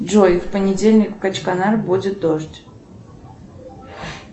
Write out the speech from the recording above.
джой в понедельник в качканар будет дождь